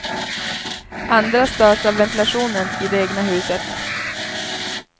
Andra störs av ventilationen i det egna huset.